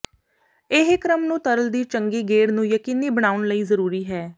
ਇਹ ਕ੍ਰਮ ਨੂੰ ਤਰਲ ਦੀ ਚੰਗੀ ਗੇੜ ਨੂੰ ਯਕੀਨੀ ਬਣਾਉਣ ਲਈ ਜ਼ਰੂਰੀ ਹੈ